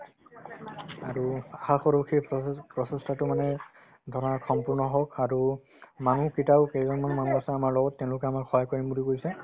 আৰু আশা কৰো সেই প্ৰচেষ্টা~ প্ৰচেষ্টাতাতো মানে ধৰা সম্পূৰ্ণ হওক আৰু মানুহ কেইটাও কেইজনমান মানুহ আছে আমাৰ লগত তেওঁলোকে আমাক সহায় কৰিম বুলি কৈছে